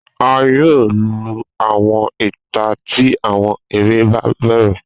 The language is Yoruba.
A yoo lu awọn ita ti awọn ere ba bẹrẹ